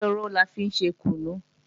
Jéró la fi ń ṣe kùnú